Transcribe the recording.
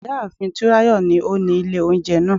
Ìyá àfin Túnráyọ̀ ni ó ni ilé oúnjẹ náà